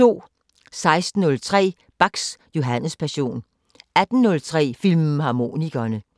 16:03: Bachs Johannespassion 18:03: Filmharmonikerne